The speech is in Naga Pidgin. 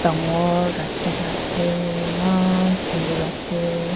rakhi na ase eman sunder ase.